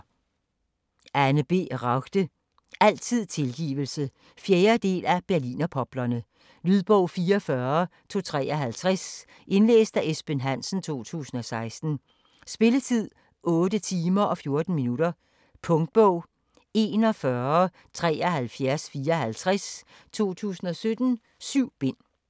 Ragde, Anne B.: Altid tilgivelse 4. del af Berlinerpoplerne. Lydbog 44253 Indlæst af Esben Hansen, 2016. Spilletid: 8 timer, 14 minutter. Punktbog 417354 2017. 7 bind.